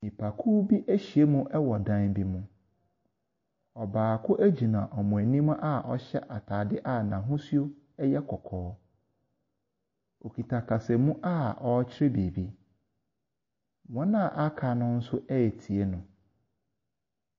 Nipakuo bi ahyia mu wɔ dan bi mu. Ɔbaako gyina wɔn anim a ɔhyɛ atadeɛ a n'ahosuo yɛ kɔkɔɔ. Ɔkita kasamu a ɔrekyerɛ biribi. Wɔn a wɔaka no nso retie no.